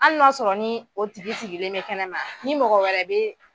Al n'o y'a sɔrɔ nii o tigi sigilen bɛ kɛnɛma ni mɔgɔ wɛrɛ be